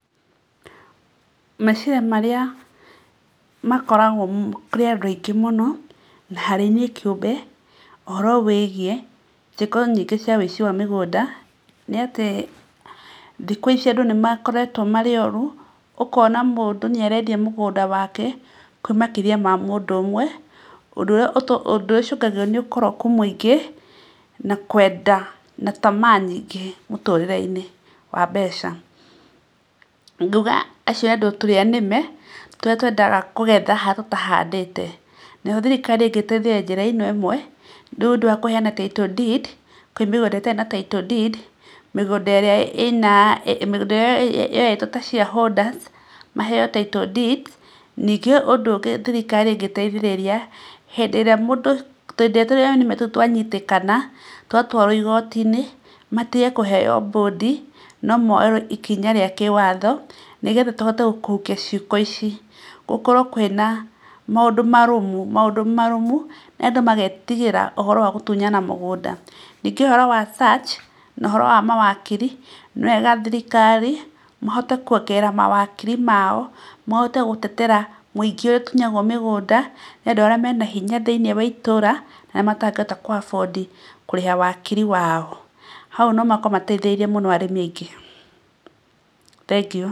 Meciria marĩa makoragwo kũrĩ andũ aingĩ mũno na harĩ niĩ kĩũmbe ũhoro wĩgiĩ ciĩko nyingĩ cia wĩici wa mĩgũnda nĩ atĩ thikũ ici andũ nĩmakoretwo marĩ oru. Ũkona mũndũ nĩ arendia mũgũnda wake kwĩ makĩria ma mũndũ ũmwe. Ũndũ ũrĩa ũtũmaga, ũndũ ũria ũcũngagĩrĩrio nĩ ũkoroku mũingĩ, na kwenda na tamaa nyingĩ mũtũrĩre-inĩ wa mbeca. Ngauga acio andũ, tũrĩa nĩme tũrĩa twendaga kũgetha harĩa tũtahandĩte. Nayo thirikari ĩngĩteithĩrĩria njĩra ĩno ĩmwe, nĩũndũ wa kũheana title deed kwĩ mĩgũnda ĩtarĩ na title deed, mĩgũnda ĩrĩa ĩna, mĩgũnda ĩrĩa yoetwo ta shareholders maheo title deed. Ningĩ ũndũ ũngĩ thirikari ĩngĩteithĩrĩria hĩndĩ ĩrĩa mũndũ, hĩndĩ ĩrĩa tũrĩa nĩme tũu twanyitĩkana, twatũarwo igoti-inĩ matige kũheo mbũndi, no moerwo ikinya rĩa kĩwatho, nĩgetha tũhote kũhukia ciĩko ici. Gũkorwo kwĩna na maũndũ marũmu, maũndũ marũmu, andũ magetigĩra ũhoro wa gũtunyana mĩgũnda. Ningĩ ũhoro wa search, na ũhoro wa mawakiri, nĩ wega thirikari mahote kũongerera mawakiri mao, mahote gũtetera mũingĩ ũrĩa ũtunyagwo mĩgũnda nĩ andũ arĩa mena hinya thĩinĩ wa itũra, na arĩa matangĩhota kũ afford kũrĩha wakiri wao. Hau no makorwo mateithĩrĩirie mũno arĩmi aingĩ. Thengiũ.